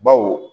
Baw